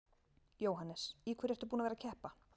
Jóhannes: Í hverju ertu búinn að vera að keppa?